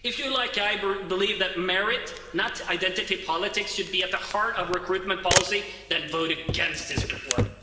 If you, like I do, believe that merit, not identity politics, should be at the heart of recruitment policy, then vote against this report.